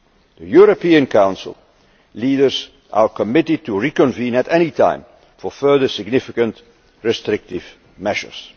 The European Council leaders are committed to reconvening at any time for further significant restrictive measures.